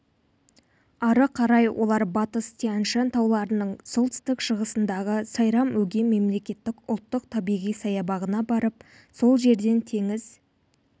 ары қарай олар батыс тянь-шань тауларының солтүстік-шығысындағы сайрам-өгем мемлекеттік ұлттық табиғи саябағына барып сол жерден теңіз